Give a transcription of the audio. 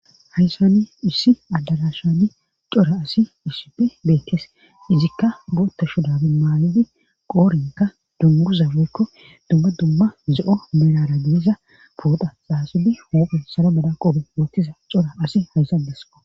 hayssani issi addalashani cora asi isipe beetes izikka gootta shudabe maayidi qoorinka dunguzafeykko dumma dumma ze7o merara gediza pooda xaaxidi hoophun saro bala qobe woottiza cora asi haysandeso